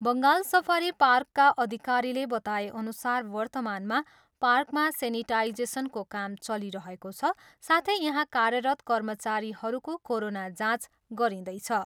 Bengal safari पार्कका अधिकारीले बताएअनुसार वर्तमानमा पार्कमा सेनिटाइजेसनको काम चलिरहेको छ साथै यहाँ कार्यरत कर्मचारीहरूको कोरोना जाँच गरिँदैछ।